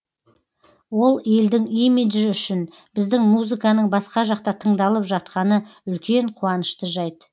ол елдің имиджі үшін біздің музыканың басқа жақта тыңдалып жатқаны үлкен қуанышты жайт